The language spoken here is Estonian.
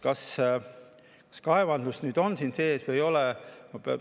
Kas kaevandus nüüd on siin sees või ei ole?